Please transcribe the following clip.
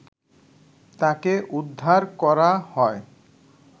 তাকে উদ্ধার করা হয়